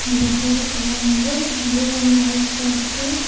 இந்த பெட்டோட கலர் வந்து ப்ளூ அண்ட் ஒயிட்ல இருக்கு.